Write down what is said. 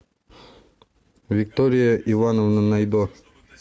виктория ивановна найдо